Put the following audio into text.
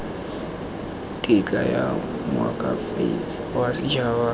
tetla ya moakhaefe wa setshaba